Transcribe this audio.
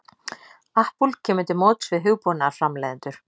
Apple kemur til móts við hugbúnaðarframleiðendur